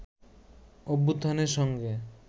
অভ্যুত্থানের সঙ্গে